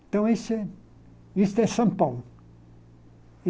Então, isso é isto é São Paulo.